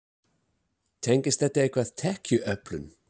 Tengist þetta eitthvað tekjuöflun?